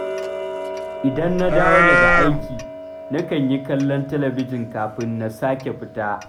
Idan na dawo daga aiki, nakan yi kallon talabijin kafin na sake fita